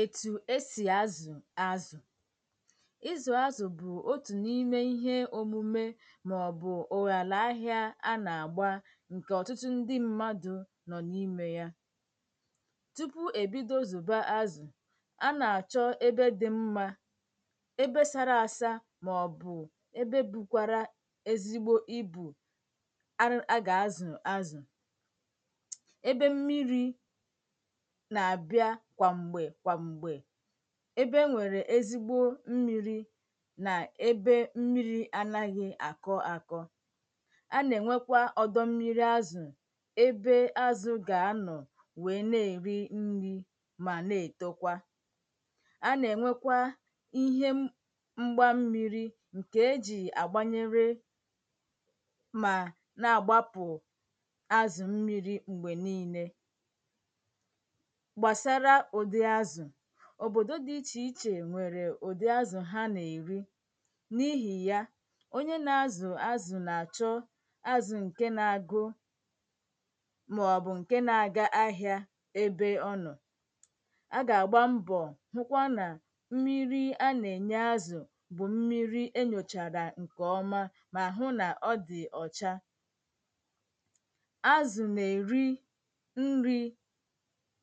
ètù esì azụ̀ azụ̀ ịzụ̀ azụ̀ bụ̀ otù n’ime ihe òmume màọ̀bụ̀ ùràlà ahị̄ā a nà-àgba ǹkè ọ̇tụtụ ndị mmadụ̄ nọ̀ n’imē ya tupu èbido zụ̀ba azụ̀ a nà-àchọ ebe dị mmā ebe sara asa màọ̀bụ̀ ebe bukwara ezigbo ibù ar a gà-azụ̀ azụ̀ ebe mmirī nà-àbị́á kwàm̀gbè kwàm̀gbè ebe enwèrè ezigbo mmīrī nà ebe mmirī anaghị̄ àkọ akọ a nà-ènwekwa ọ̀dọ mmiri azụ̀ ebe azụ̄ gà-anọ̀ wèe na-èri nrī mà na-ètokwa a nà-ènwekwa ihe mgba mmīrī nke ejì àgbanyere mà na-àgbapụ̀ azụ̀ mmirī m̀gbè niīnē gbàsara ụ̀dị azụ̀ òbòdo dị ichè ichè nwèrekwà ụdị̀ azụ̀ ha nà-èri n’ịhị̀ ya onye na-azụ̀ azụ̀ nà-àchọ azụ̀ ǹke na-agụ màọ̀bụ̀ ǹke na-aga ahị̄ā ebe ọ nọ̄ a gà-àgba mbọ̀ hụkwa nà mmiri a nà-ènye azụ̀ bụ̀ mmiri enyòchàrà ǹkè ọma mà hụ nà ọ dị̀ ọ̀cha azụ̀ nà-èri nrī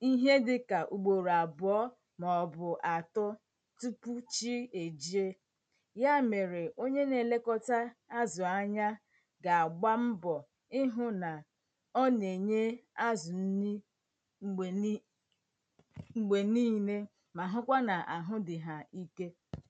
ihe dịkà ùgbòrò àbụ̀ọ màọ̀bụ̀ àtọ tupu chi è jie ya mèrè onye na-elekọta azụ̀ anya gà-àgba mbọ̀ ihụ̄ nà ọ na-enye azụ nni m̀gbè ni m̀gbè niile mà hụkwa nà àhụ dị̀ hà ike